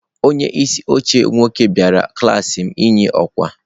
Onye isi oche nwoke bịara klaasị m inye ọkwa.